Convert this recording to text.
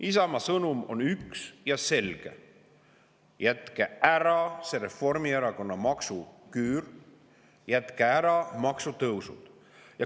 Isamaa sõnum on üks ja selge: jätke ära see Reformierakonna maksuküür, jätke ära maksutõusud.